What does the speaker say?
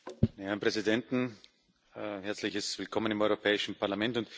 Herren Präsidenten! Herzliches Willkommen im Europäischen Parlament!